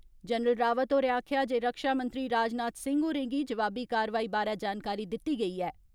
General Rawat होरें आक्खेया जे रक्षामंत्री राजनाथ सिंह होरें गी जवाबी कारवाई बारै जानकारी दिती गेई ऐ।